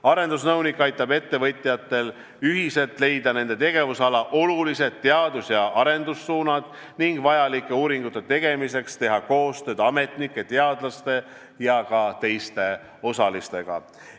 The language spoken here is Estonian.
Arendusnõunik aitab ettevõtjatel ühiselt leida nende tegevusala olulised teadus- ja arendussuunad ning aitab uuringute tegemiseks teha koostööd ametnike, teadlaste ja teiste osalistega.